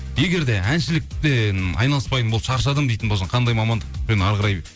егер де әншіліктен айналыспайтын болып шаршадым дейтін болсаң қандай мамандықтпен әрі қарай